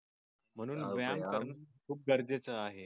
म्हणून व्यायाम करणं खूप गरजेच आहे.